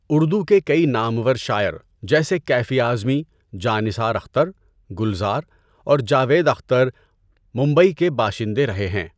اردو کے کئی نامور شاعر جیسے کیفی اعظمی، جاں نثار اختر، گلزار اور جاوید اختر ممبئی کے باشندے رہے ہیں۔